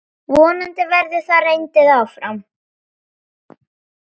Vonandi verður það reyndin áfram.